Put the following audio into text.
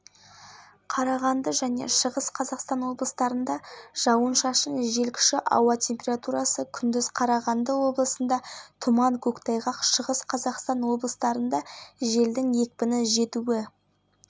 маңғыстау атырау және батыс қазақстан облыстарында өткінші жаңбыр жауады тиісінше және градус маңғыстау және атырау облыстарының кей жерлерінде тұман түседі